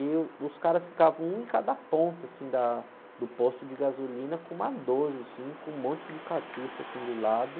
E, uh, os caras ficavam um em cada ponta, assim, da, do posto de gasolina, com uma doze, assim, com um monte de cartucho, assim, do lado.